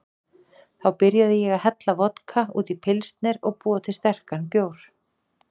Þá byrjaði ég að hella vodka út í pilsner og búa til sterkan bjór.